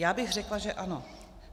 Já bych řekla, že ano.